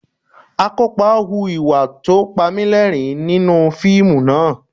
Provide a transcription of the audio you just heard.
Akópa hu ìwà tó Panilẹ́rìn-ín nínú fíìmù náà